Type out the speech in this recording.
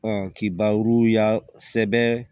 k'i baro ya sɛbɛn